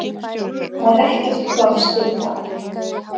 Það er ekkert pláss fyrir það.